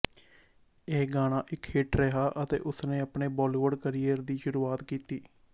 ਇਹ ਗਾਣਾ ਇੱਕ ਹਿੱਟ ਰਿਹਾ ਅਤੇ ਉਸਨੇ ਆਪਣੇ ਬਾਲੀਵੁੱਡ ਕਰੀਅਰ ਦੀ ਸ਼ੁਰੂਆਤ ਕੀਤੀ